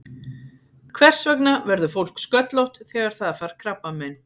Hvers vegna verður fólk sköllótt þegar það fær krabbamein?